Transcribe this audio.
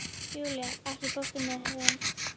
Júlía, ekki fórstu með þeim?